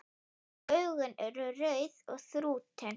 Augun eru rauð og þrútin.